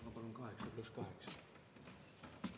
Ma palun 8 + 8 minutit.